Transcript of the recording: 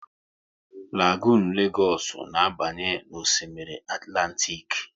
Lagonu Legoosu na abanye n'Osimiri Atlantik